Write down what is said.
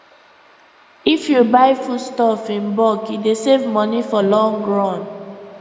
if you buy foodstuff in bulk e dey save money for long run